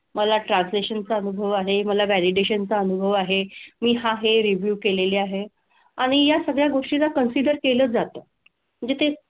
मला translation चा अनुभव आहे, मला validation चा अनुभव आहे, मी हा हे review केलेला आहे. आणि या सगळ्या गोष्टींना consider केलं जातं. म्हणजे ते,